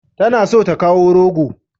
Tana so ta kawo rogo.